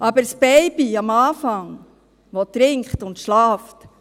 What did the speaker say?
Aber das Baby, das am Anfang trinkt und schläft: